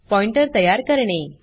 pointer तयार करणे